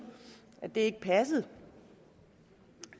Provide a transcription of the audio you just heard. at det ikke passede